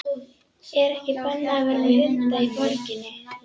Er ekki bannað að vera með hunda í borginni?